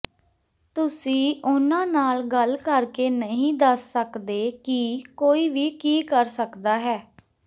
ਤੁਸੀਂ ਉਨ੍ਹਾਂ ਨਾਲ ਗੱਲ ਕਰਕੇ ਨਹੀਂ ਦੱਸ ਸਕਦੇ ਕਿ ਕੋਈ ਵੀ ਕੀ ਕਰ ਸਕਦਾ ਹੈ